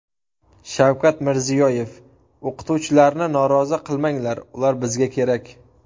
Shavkat Mirziyoyev: O‘qituvchilarni norozi qilmanglar, ular bizga kerak .